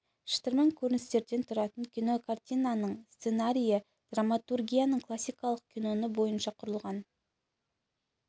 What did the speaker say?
шытырман көріністерден тұратын кинокартинаның сценарийі драматургияның классикалық каноны бойынша құрылған